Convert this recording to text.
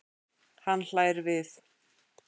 Hann hlær við.